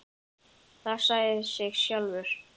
Það sagði sig sjálft.